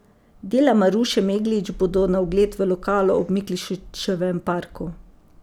Dela Maruše Meglič bodo na ogled v lokalu ob Miklošičevem parku.